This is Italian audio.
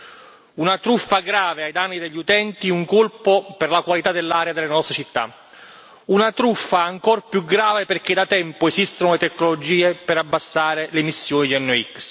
È una truffa grave ai danni degli utenti e un colpo per la qualità dell'aria delle nostre città, una truffa ancor più grave perché da tempo esistono le tecnologie per abbassare le emissioni di NOx.